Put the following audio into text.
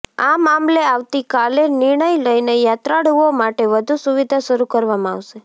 આ મામલે આવતીકાલે નિર્ણય લઈને યાત્રાળુઓ માટે વધુ સુવિધા શરુ કરવામાં આવશે